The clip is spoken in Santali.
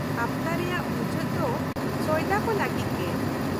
-ᱦᱟᱯᱛᱟ ᱨᱮᱭᱟᱜ ᱢᱩᱪᱟᱹᱫ ᱫᱚ ᱥᱚᱭᱫᱟ ᱠᱚ ᱞᱟᱹᱜᱤᱫ ᱜᱮ᱾